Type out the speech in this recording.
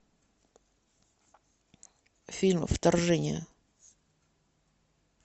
фильм вторжение